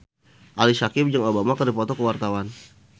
Ali Syakieb jeung Obama keur dipoto ku wartawan